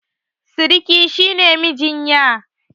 Siriki shi ne mijin ƴa.